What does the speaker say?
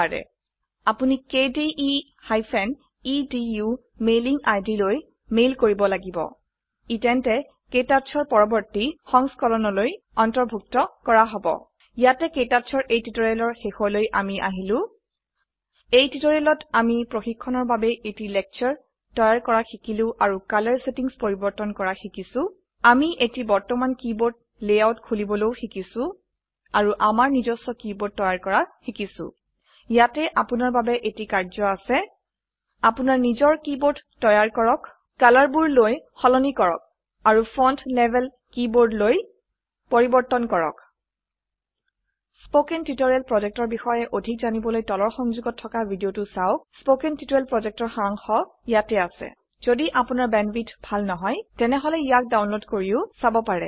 নোৱাৰে আপোনি কেডিই এদো মেইলিং আইডি লৈ মেইল কৰিব লাগিব ই তেন্তে KTouchৰ পৰবৰ্তী সংস্কৰণলৈ অন্তৰ্ভুক্ত কৰা হব ইয়াতে KTouchৰ এই টিউটোৰিয়েলৰ শেষলৈ আমি আহিলো এই টিউটোৰিয়েলত আমি প্ৰশিক্ষণৰ বাবে এটি লেকচাৰ তৈয়াৰ কৰা শিকিলো আৰু কালাৰ সেটিংস পৰিবৰ্তন কৰা শিকিছো আমি এটি বৰ্তমান কীবোৰ্ড লেআউট খুলিবলৈও শিকিছো আৰু আমাৰ নিজস্ব কিবোৰ্ড তৈয়াৰ কৰা শিকিছো ইয়াতে আপোনাৰ বাবে এটি কাৰ্যয় আছে আপনাৰ নিজৰ কী বোৰ্ড তৈয়াৰ কৰক কালাৰবোৰ লৈ সলনি কৰক আৰু ফন্ট লেভেল কিবৰ্দ লৈ পৰিবৰ্তন কৰক spoken টিউটৰিয়েল projectৰ বিষয়ে অধিক জানিবলৈ তলৰ সংযোগত থকা ভিডিঅ চাওক কথন শিক্ষণ প্ৰকল্পৰ সাৰাংশ ইয়াত আছে যদি আপোনাৰ বেণ্ডৱিডথ ভাল নহয় তেনেহলে ইয়াক ডাউনলোড কৰি চাব পাৰে